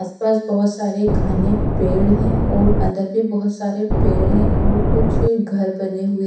आस पास बहुत सारे घने पेड़ हैं और अंदर भी बहुत सारे पेड़ हैं और कुछ घर बने हुए--